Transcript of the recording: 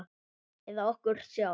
Eða okkur sjálf?